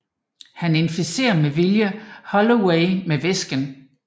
Han inficerer med vilje Holloway med væsken